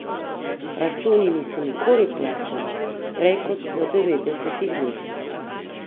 Računi niso nikoli plačani prej kot v devetdesetih dneh.